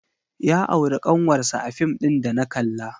Ya auri ƙanwarsa a fim ɗin da na kalla.